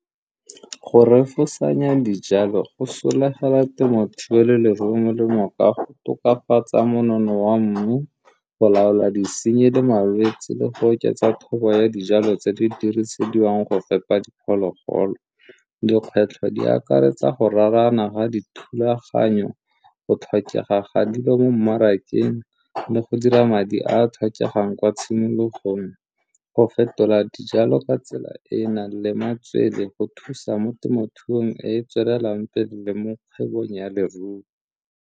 Go refosanya dijalo go solagela temothuo le leruo molemo ka go tokafatsa monono wa mmu, go laola disenyi le malwetsi le go oketsa thobo ya dijalo tse di dirisediwang go fepa diphologolo. Dikgwetlho di akaretsa go raarana ga dithulaganyo, go tlhokega ga dilo mo mmarakeng le go dira madi a a tlhokegang kwa tshimologong. Go fetola dijalo ka tsela e e nang le matswele go thusa mo temothuong e e tswelelang pele mo kgwebong ya leruo.